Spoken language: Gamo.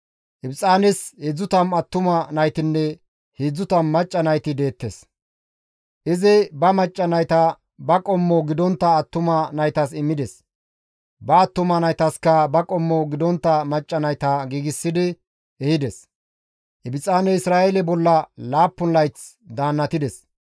Ibxaanes 30 attuma naytinne 30 macca nayti deettes; izi ba macca nayta ba qommo gidontta attuma naytas immides; ba attuma naytaska ba qommo gidontta macca nayta giigsidi ehides. Ibxaaney Isra7eele bolla laappun layth daannatides.